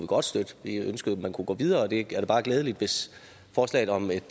godt støtte vi ønskede at man kunne gå videre og det er da bare glædeligt hvis forslaget om et